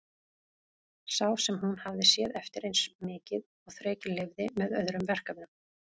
Sá sem hún hafði séð eftir eins mikið og þrekið leyfði, með öðrum verkefnum.